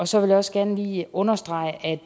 så vil jeg også gerne lige understrege at